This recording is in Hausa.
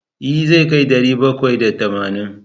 E, zai kai ɗari bakwai da tamanin.